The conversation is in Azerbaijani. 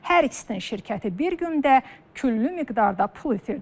Hər ikisinin şirkəti bir gündə küllü miqdarda pul itirdi.